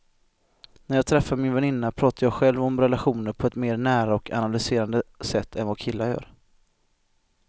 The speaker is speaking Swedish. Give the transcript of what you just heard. När jag träffar min väninna pratar jag själv om relationer på ett mer nära och analyserande sätt än vad killar gör.